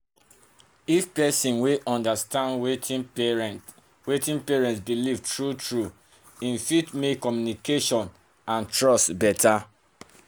if person understand wetin patient wetin patient believe true-true e fit make communication and trust better.